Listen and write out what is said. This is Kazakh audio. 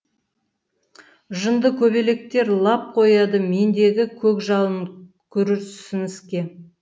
жындыкөбелектер лап қояды мендегі көкжалын күрсініске